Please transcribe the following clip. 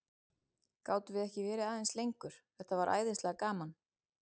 Gátum við ekki verið aðeins lengur, þetta var svo æðislega gaman?